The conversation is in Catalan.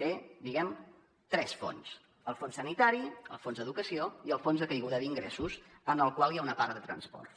té diguem ne tres fons el fons sanitari el fons educació i el fons de caiguda d’ingressos en el qual hi ha una part de transports